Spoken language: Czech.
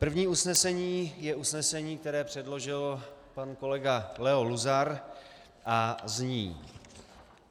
První usnesení je usnesení, které předložil pan kolega Leo Luzar, a zní: